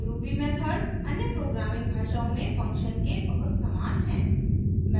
ruby method अन्य programming भाषाओं में फंक्शन्स के बहुत समान है